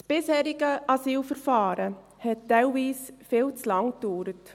Das bisherige Asylverfahren hat teilweise viel zu lange gedauert.